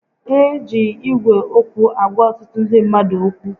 E ji Ígwè okwu agwa ọtụtụ ndị mmadụ okwu